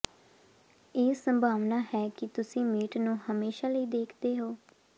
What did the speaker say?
ਇਹ ਸੰਭਾਵਨਾ ਹੈ ਕਿ ਤੁਸੀਂ ਮੀਟ ਨੂੰ ਹਮੇਸ਼ਾ ਲਈ ਦੇਖਦੇ ਹੋ